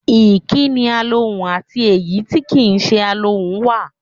Ìkí́ni alohùn àti èyí tí kì í se alohùn wà.